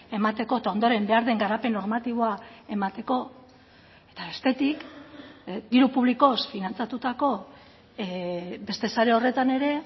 emateko eta ondoren behar den garapen normatiboa emateko eta bestetik diru publikoz finantzatutako beste sare horretan ere